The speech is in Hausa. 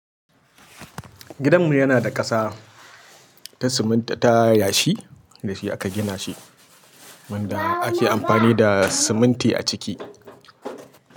Gidanmu yana da ƙasa ta siminti ta yashi da shi aka gina shi, wanda ake amfani da siminti a ciki.